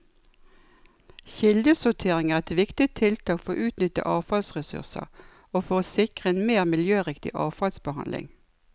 Kildesortering er et viktig tiltak for å utnytte avfallsressurser og for å sikre en mer miljøriktig avfallsbehandling.